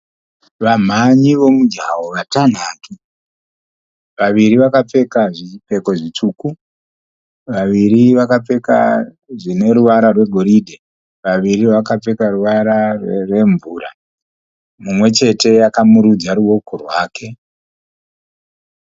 Vamhanyi vomujaho vatanhatu. Vaviri vakapfeka zvipfeko zvitsvuku. Vaviri vakapfeka zvine ruvara rwegoridhe. Vaviri vakapfeka ruvara rwemvura. Mumwe chete akamurudza ruoko rwake.